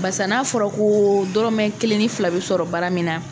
Basa n'a fɔra ko dɔrɔmɛ kelen ni fila bɛ sɔrɔ baara min na.